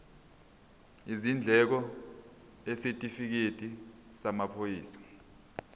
izindleko isitifikedi samaphoyisa